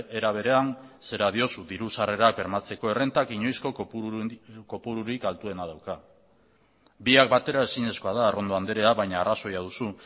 era berean zera diozu diru sarrerak bermatzeko errentak inoizko kopururik altuena dauka biak batera ezinezkoa da arrondo andrea baina arrazoia duzu